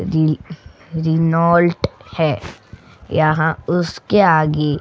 रिल Renault है यहां उसके आगे --